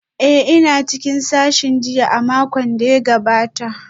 Ee, ina cikin sashin jinya a makon da ya gabata